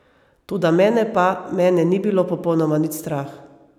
Toda mene pa, mene ni bilo popolnoma nič strah.